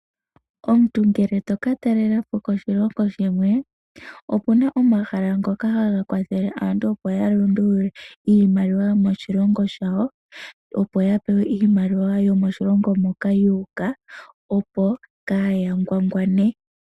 Omuntu ngele to ka talela po koshilongo shimwe, opuna omahala ngoka haga kwathele aantu opo ya lundulule iimaliwa yomoshilongo shawo opo ya pewe iimaliwa yomoshilongo moka yu uka opo kaaya ngwangwane.